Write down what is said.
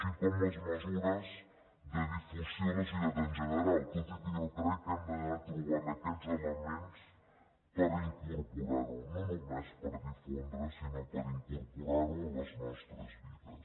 i també les mesures de difusió a la societat en general tot i que jo crec que hem d’anar trobant aquests elements per incorporar ho no només per difondre sinó per incorporar ho a les nostres vides